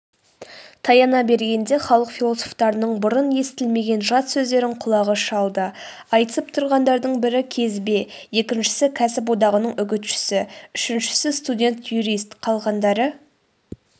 таяна бергенде халық философтарының бұрын естілмеген жат сөздерін құлағы шалды айтысып тұрғандардың бірі кезбе екіншісі кәсіп одағының үгітшісі үшіншісі студент-юрист қалғандары